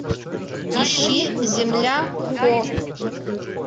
ищи земля хо